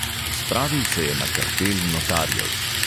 Spravil se je na kartel notarjev.